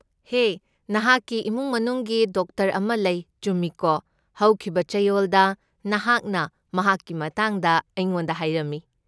ꯍꯦ, ꯅꯍꯥꯛꯒꯤ ꯏꯃꯨꯡ ꯃꯅꯨꯡꯒꯤ ꯗꯣꯛꯇꯔ ꯑꯃ ꯂꯩ, ꯆꯨꯝꯃꯤꯀꯣ? ꯍꯧꯈꯤꯕ ꯆꯌꯣꯜꯗ ꯅꯍꯥꯛꯅ ꯃꯍꯥꯛꯀꯤ ꯃꯇꯥꯡꯗ ꯑꯩꯉꯣꯟꯗ ꯍꯥꯏꯔꯝꯃꯤ꯫